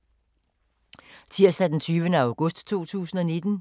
Tirsdag d. 20. august 2019